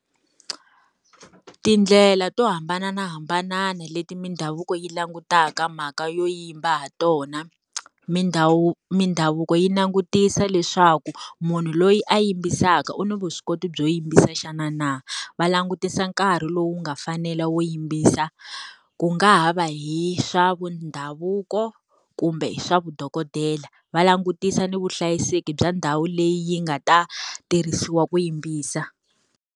Tindlela to hambanahambana leti mindhavuko yi langutaka mhaka yo yimba ha tona. Mindhavuko yi langutisa leswaku munhu loyi a yimbisaka u ni vuswikoti byo yimbisa xana na? Va langutisa nkarhi lowu nga fanela wo yimbisa. Ku nga ha va hi swa vundhavuko, kumbe swa vudokodela. Va langutisa ni vuhlayiseki bya ndhawu leyi yi nga ta tirhisiwa ku yimbisa.